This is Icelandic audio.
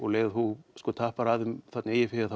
leið og þú tappar af eigið fé þá